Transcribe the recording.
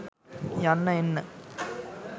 යන්න එන්න.